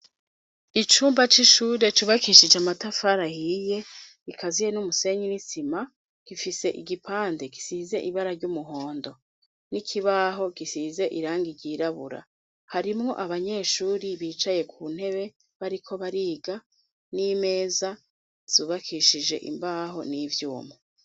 Icumba c'ishure cubakishije amatafari ahiyI, bikaziye n'umusenyi n'isima. Gifise igipande gisize ibara ry'umuhondo, n'ikibaho gisize irangi ryirabura. Harimwo abanyeshuri bicaye ku ntebe bariko bariga, n'imeza zubakishije imbaho n'ivyuma.